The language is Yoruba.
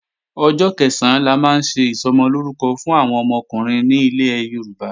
Ọjọ́ Kẹ̀sán la máa ń ṣe Ìsọmọlórúkọ fún àwọn ọmọkùnrin ní ilẹ̀ Yorùbá